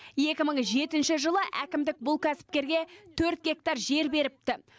екі мың жетінші жылы әкімдік бұл кәсіпкерге төрт гектар жер беріпті